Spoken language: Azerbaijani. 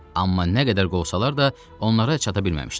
Amma nə qədər qovsalar da, onlara çata bilməmişdilər.